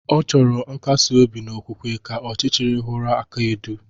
Ọ chọrọ nkasi-obi n'okwukwe, ka ọchichiri huru aka-edu.